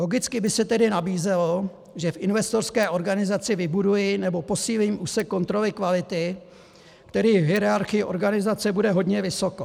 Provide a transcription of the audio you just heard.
Logicky by se tedy nabízelo, že v investorské organizaci vybuduji, nebo posílím úsek kontroly kvality, který v hierarchii organizace bude hodně vysoko.